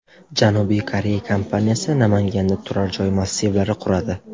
Janubiy Koreya kompaniyasi Namanganda turar-joy massivlari quradi.